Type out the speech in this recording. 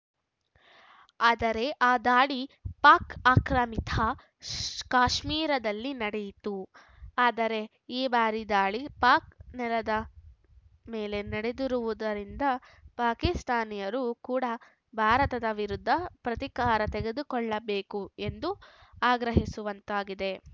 ಆದರೆ ಆ ದಾಳಿ ಪಾಕ್‌ ಆಕ್ರಮಿತ ಶೂ ಕಾಶ್ಮೀರದಲ್ಲಿ ನಡೆಯಿತ್ತು ಆದರೆ ಈ ಬಾರಿ ದಾಳಿ ಪಾಕ್‌ ನೆಲದ ಮೇಲೆ ನಡೆದಿರುವುದರಿಂದ ಪಾಕಿಸ್ತಾನಿಯರು ಕೂಡ ಭಾರತದ ವಿರುದ್ಧ ಪ್ರತೀಕಾರ ತೆಗೆದುಕೊಳ್ಳಬೇಕು ಎಂದು ಆಗ್ರಹಿಸುವಂತಾಗಿದೆ